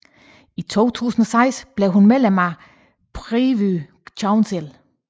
I 2006 blev hun medlem af Privy Council